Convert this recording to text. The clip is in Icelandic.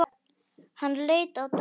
Hann leit á Daðínu.